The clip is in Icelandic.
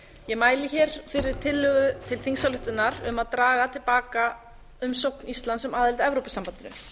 ég mæli hér fyrir tillögu til þingsályktunar um að draga til baka umsókn íslands um aðild að evrópusambandinu